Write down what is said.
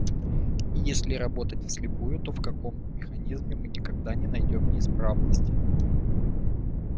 и если работать вслепую то в каком механизме мы никогда не найдём неисправности